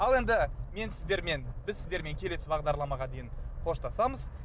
ал енді мне сіздермен біз сіздермен келесі бағдарламаға дейін қоштасамыз